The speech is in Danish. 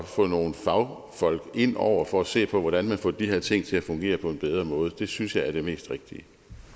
få nogle fagfolk ind over for at se på hvordan man får de her ting til at fungere på en bedre måde det synes jeg er det mest rigtige